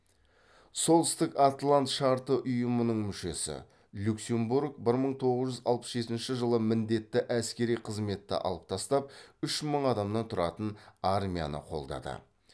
солтүстік атлант шарты ұйымының мүшесі люксембург бір мың тоғыз жүз алпыс жетінші жылы міндетті әскери қызметті алып тастап үш мың адамнан тұратын армияны қолдады